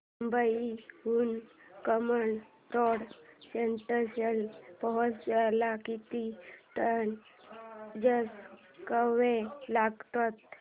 मुंबई हून कामन रोड स्टेशनला पोहचायला किती ट्रेन चेंज कराव्या लागतात